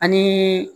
Ani